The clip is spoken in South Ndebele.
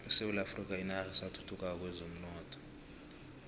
isewula afrika yinarha esathuthukako kwezomnotho